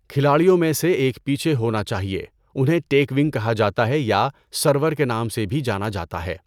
کھلاڑیوں میں سے ایک پیچھے ہونا چاہئے، انہیں 'ٹیکونگ' کہا جاتا ہے یا 'سرور' کے نام سے بھی جانا جاتا ہے۔